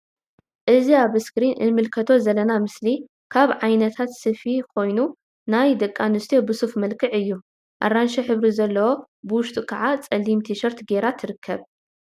እዚ ኣብ እስክሪን እንምልከቶ ዘለና ምስሊ ካብ ዓይነታ ስፊት ኮይኑ ናይ ደቂ ኣንስትዮ ብ ሱፍ መልክዕ እዩ ።ኣራንሺ ሕብሪ ዘለዎ ብውሽጢ ክዓ ጸሊም ትሸርት ገይራ ንዕዘብ።